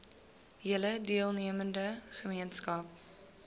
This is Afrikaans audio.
hele deelnemende gemeenskap